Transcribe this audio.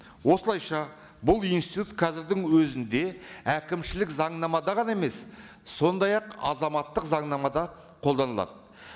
осылайша бұл институт қазірдің өзінде әкімшілік заңнамада ғана емес сондай ақ азаматтық заңнамада қолданылады